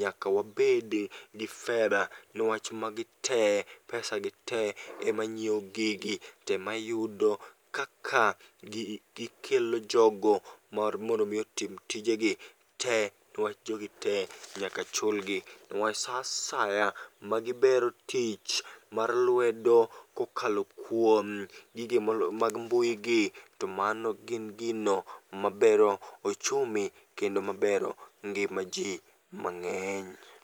nyaka wabedi gi cs]fedha niwach magi te, pesa gi te ema nyiewo gigi temayudo kaka gikelo jogo mar mondo mi otim tijegi te. Niwach jogi te nyaka chulgi, niwach sa asaya ma gibero tich mar lwedo kokalo kuom gigi mag mbui gi to mano gin gino maber ochumi kendo mabero ngima ji mang'eny.